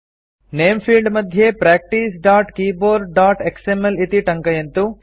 नेम field मध्ये practicekeyboardएक्सएमएल इति टङ्कयन्तु